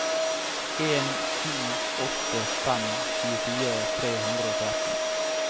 en sju åtte fem tjuefire tre hundre og tretten